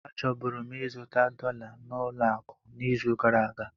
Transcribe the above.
Achọburu m ịzụta dollar na ụlọ akụ n'izu gara aga.